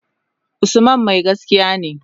Usman mai gaskiya ne.